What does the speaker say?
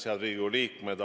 Head Riigikogu liikmed!